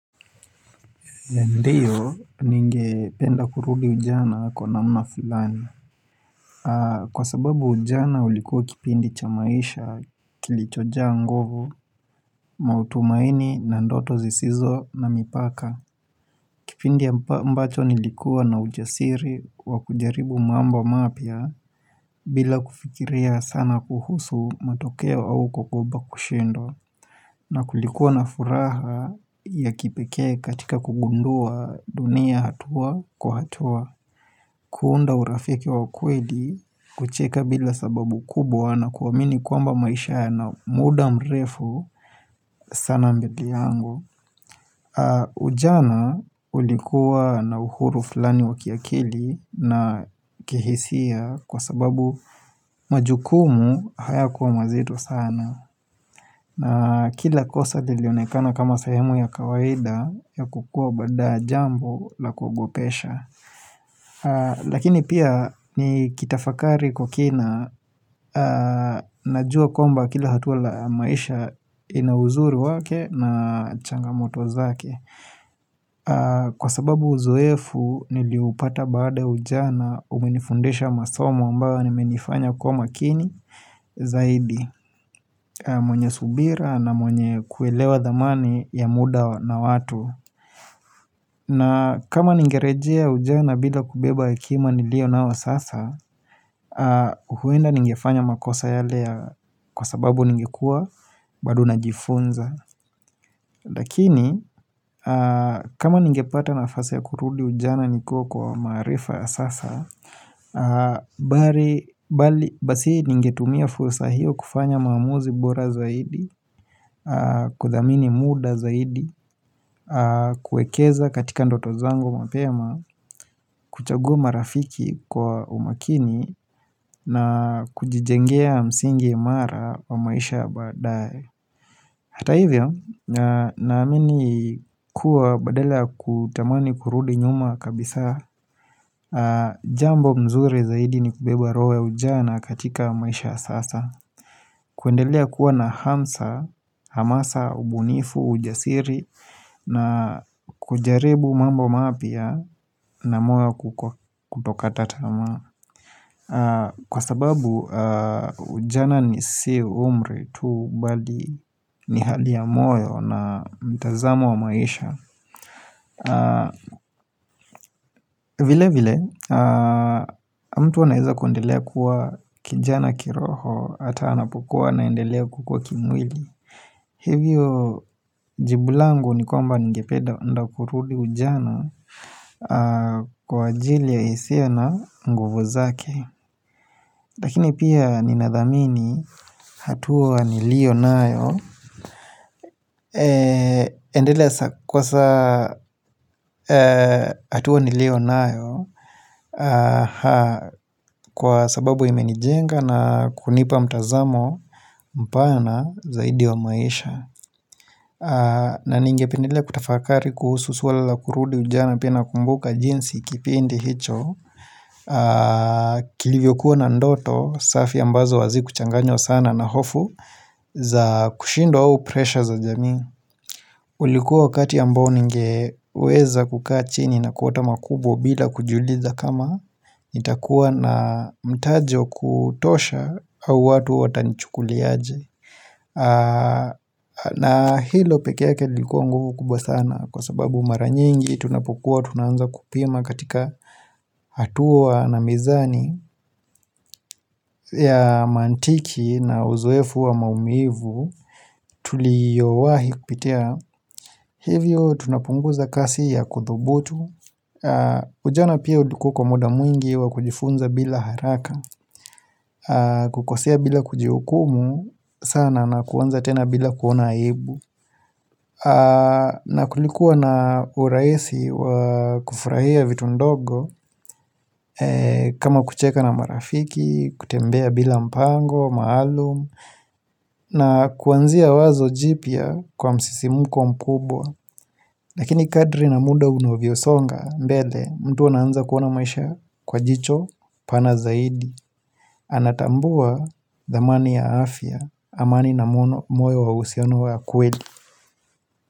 Ndiyo, ningependa kurudi ujana kwa namna fulani. Kwa sababu ujana ulikuwa kipindi cha maisha kilichojaa nguvo, matumaini, na ndoto zisizo na mipaka. Kipindi ambacho nilikuwa na ujasiri wa kujaribu mambo mapya bila kufikiria sana kuhusu matokeo au kuogopa kushindwa. Na kulikuwa na furaha ya kipekee katika kugundua dunia hatua kwa hatua, kuunda urafiki wa ukweli, kucheka bila sababu kubwa na kuamini kwamba maisha yana muda mrefu sana mbele yangu. Ujana ulikuwa na uhuru fulani wa kiakili na kihisia kwa sababu majukumu hayakuwa mazito sana. Na kila kosa lilionekana kama sehemu ya kawaida ya kukua baada jambo la kuogopesha. Lakini pia nikitafakari kwa kina najua kwamba kila hatua la maisha ina uzuri wake na changamoto zake. Kwa sababu uzoefu nilioupata baada ya ujana umenifundisha masomo ambayo yamenifanya kuwa makini zaidi. Mwenye subira na mwenye kuelewa thamani ya muda na watu na kama ningerejea ujana bila kubeba hekima niliyo nayo sasa huenda ningefanya makosa yale kwa sababu ningekuwa bado najifunza. Lakini kama ningepata nafasi ya kurudi ujana nikiwa kwa maarifa ya sasa Basi ningetumia fursa hiyo kufanya maamuzi bora zaidi kuthamini muda zaidi kuwekeza katika ndoto zango mapema kuchagua marafiki kwa umakini na kujijengea msingi imara wa maisha ya baadaye Hata hivyo naamini kuwa badala ya kutamani kurudi nyuma kabisa Jambo mzuri zaidi ni kubeba royo ya ujana katika maisha ya sasa kuendelea kuwa na hamsa, hamasa, ubunifu, ujasiri na kujaribu mambo mapya na moyo kutokata tamaa kwa sababu ujana ni si umri tu bali ni hali ya moyo na mtazamo wa maisha vile vile, mtu anaweza kuendelea kuwa kijana kiroho hata anapokuwa anaendelea kukua kimwili. Hivyo, jibu langu ni kwamba ningependa kurudi ujana kwa ajili ya hisia na nguvu zake Lakini pia ninathamini hatua niliyo nayo endelea kwa saa hatua niliyo nayo Kwa sababu imenijenga na kunipa mtazamo mpana zaidi wa maisha na ningependelea kutafakari kuhusu swala la kurudi ujana pia nakumbuka jinsi kipindi hicho kilivyokuwa na ndoto safi ambazo hazikuchanganywa sana na hofu za kushindwa au presha za jamii ulikuwa wakati ambao ningeweza kukaa chini na kuota makubwa bila kujiuliza kama nitakuwa na mtajo wa kutosha au watu watanichukulia aje na hilo peke yake lilikuwa nguvu kubwa sana kwa sababu mara nyingi tunapokuwa tunaanza kupima katika hatua na mizani ya mantiki na uzoefu wa maumivu tuliyowahi kupitia Hivyo tunapunguza kasi ya kuthubutu Ujana pia ulikuwa kwa muda mwingi wa kujifunza bila haraka kukosea bila kujihukumu sana na kuanza tena bila kuona aibu na kulikuwa na urahisi wa kufurahia vitu ndogo kama kucheka na marafiki, kutembea bila mpango maalum na kuanzia wazo jipya kwa msisimko mkubwa Lakini kadiri na muda unavyosonga mbele mtu anaanza kuona maisha kwa jicho pana zaidi Anatambua thamani ya afya amani na moyo wa uhusiano wa kweli.